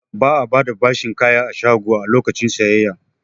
Ba'a bada bashin kaya a shago a lokacin sayayya